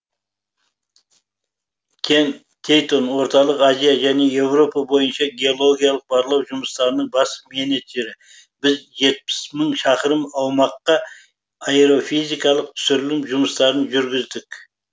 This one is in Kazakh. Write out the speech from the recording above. кен тейнтон орталық азия және еуропа бойынша геологиялық барлау жұмыстарының бас менеджері біз жетпіс мың шақырым аумаққа аэрофизикалық түсірілім жұмыстарын жүргіздік